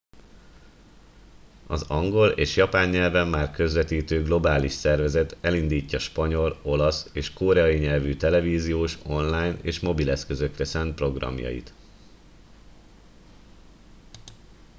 az angol és japán nyelven már közvetítő globális szervezet elindítja spanyol olasz és koreai nyelvű televíziós online és mobileszközökre szánt programjait